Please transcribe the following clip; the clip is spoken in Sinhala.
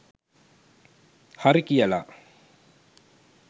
හරි කියලා